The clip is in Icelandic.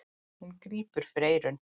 Hún grípur fyrir eyrun.